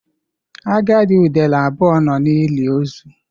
Agadi udele abụọ nọ n'ili ozu.